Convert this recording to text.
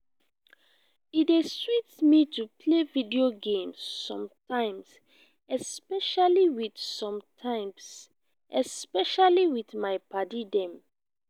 e dey sweet me to play video games sometimes especially with sometimes especially with my padi dem